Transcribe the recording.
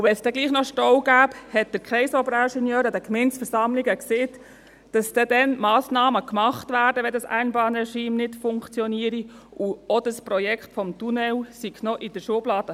Und wenn es dann doch Stau gäbe und wenn das Einbahnregime nicht funktioniere, sagte der Kreisoberingenieur an den Gemeindeversammlungen, dann würden Massnahmen getroffen, und auch das Projekt des Tunnels, das es früher gab, sei noch in der Schublade.